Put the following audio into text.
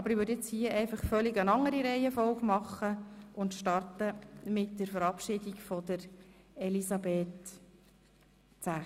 Ich gehe jetzt hier in einer völlig anderen Reihenfolge vor und starte mit der Verabschiedung von Elisabeth Zäch.